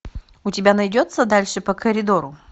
у тебя найдется дальше по коридору